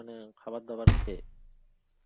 মানে খাবারদাবার খেয়ে.